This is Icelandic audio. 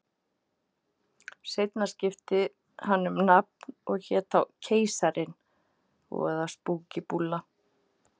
Seinna skipti hann um nafn og hét þá Keisarinn, voða spúkí búlla.